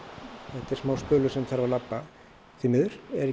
þetta er smá spölur sem þarf að labba því miður er